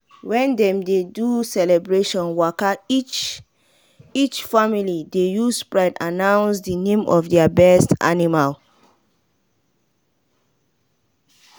when dem dey do celebration waka each each family dey use pride announce the name of their best animal.